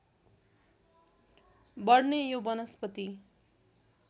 बढ्ने यो वनस्पति